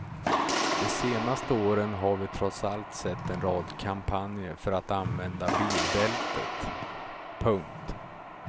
De senaste åren har vi trots allt sett en rad kampanjer för att använda bilbältet. punkt